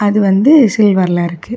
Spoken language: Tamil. அது வந்து சில்வர்ல இருக்கு.